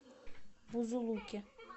бузулуке